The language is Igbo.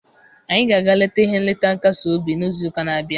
Anyị ga-aga leta he nleta nkasi obi n'izu ụka na-abịa.